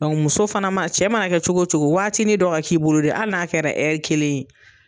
muso fana ma cɛ mana kɛ cogo cogo waatini dɔ ka k'i bolo dɛ hali n'a kɛra kelen ye.